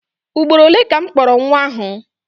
Ugboro ole ka m kpọrọ nwa ahụ?